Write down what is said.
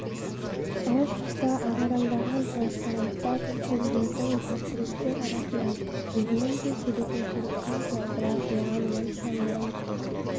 әр тұста ағараңдаған транспоранттар көсемдердің портреттер арасынан өзінің де суретін көріп қалды бірақ оған онша мән